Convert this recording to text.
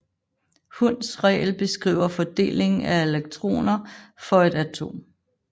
Hunds regel beskriver fordelingen af elektroner for et atom